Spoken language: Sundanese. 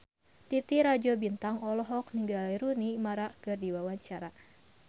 Titi Rajo Bintang olohok ningali Rooney Mara keur diwawancara